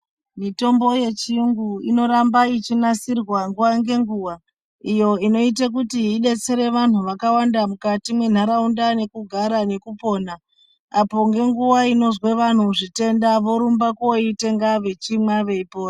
Mitombo yechiyungu inoramba ichinasirwa nguwa ngenguwa, iyo inoite kuti idetsere vanhu vakawanda mukati mwenharaunda nekugara nekupona, apo ngenguwa inozwe vanhu zvitenda, vorumba koitenga vechimwa veipora.